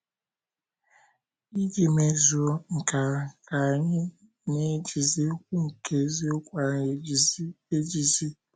Iji mezuo nke ahụ, ka anyị “ na - ejizi okwu nke eziokwu ahụ ejizi. ejizi. ”